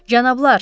Cənablar!